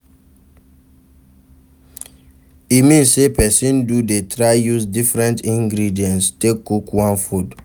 E mean say persin do de try use different ingredients take cook one food